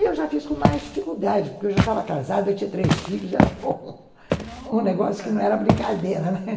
Eu já fiz com mais dificuldade, porque eu já estava casada, eu tinha três filhos, era um negócio que não era brincadeira, né.